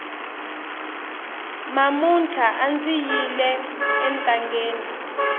mamuntlha andzi yile entangeni